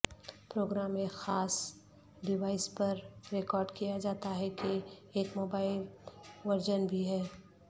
programme ایک خاص device پر ریکارڈ کیا جاتا ہے کہ ایک موبائل ورژن بھی ہے